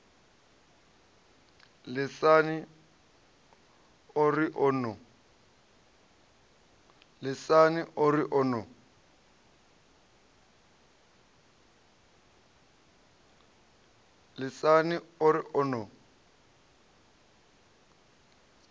lisani o ri o no